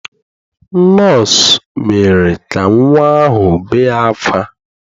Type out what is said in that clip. Nọọsụ mere ka nnwa ahụ bee ákwá.